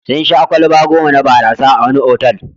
Sun sha kwalaba goma na barasa a wani otal.